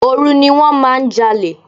Òru ni wón máa ń jalè.